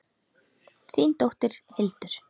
Þín dóttir, Hildur.